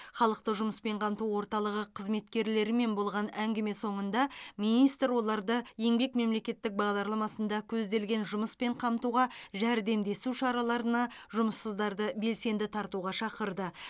халықты жұмыспен қамту орталығы қызметкерлерімен болған әңгіме соңында министр оларды еңбек мемлекеттік бағдарламасында көзделген жұмыспен қамтуға жәрдемдесу шараларына жұмыссыздарды белсенді тартуға шақырды